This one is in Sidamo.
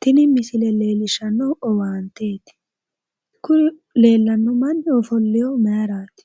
Tini misile leellishshnnohu owaanteeti. koye leellanno manni ofollinohu maayiiraati?